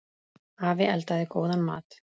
Afi eldaði góðan mat.